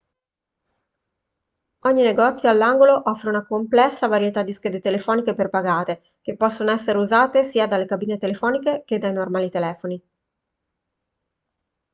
ogni negozio all'angolo offre una complessa varietà di schede telefoniche prepagate che possono essere usate sia dalle cabine telefoniche che dai normali telefoni